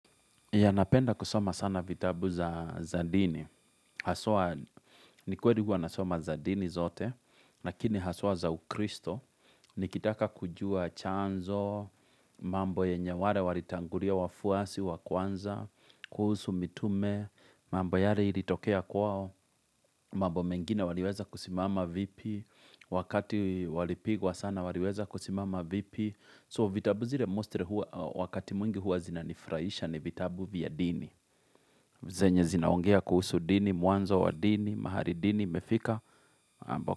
Ya napenda kusoma sana vitabu za za dini. Haswa, ni kweri huwa nasoma za zadini zote, lakini haswa za ukristo. Nikitaka kujua chanzo, mambo yenye wale walitangulia wafuasi, wa kwanza, kuhusu mitume, mambo yale ilitokea kwao, mambo mengine waliweza kusimama vipi, wakati walipigwa sana waliweza kusimama vipi. So vitabu zile mostly wakati mwingi huwa zinanifurahisha ni vitabu vya dini. Zenye zinaongea kuhusu dini, mwanzo wa dini, mahari dini, imefika.